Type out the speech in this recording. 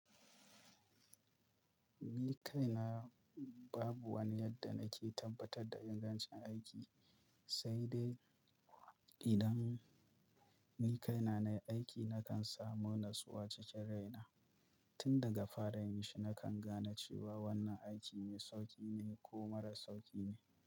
Ni kaina babu wani yadda nake tabbatar da ingancin aiki, sai dai idan ni kaina na yi aiki nakan samu natsuwa cikin raina. Tun daga fara yin shi nakan gane cewa wannan aiki mai sauƙi ne ko marar sauƙi ne.